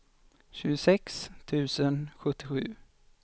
tjugosex tusen sjuttiosju